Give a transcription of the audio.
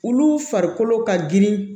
Olu farikolo ka girin